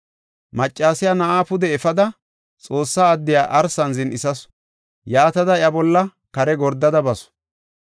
Maccasiya na7aa pude efada, Xoossa addiya arsan zin7isasu. Yaatada iya bolla kare gordada basu.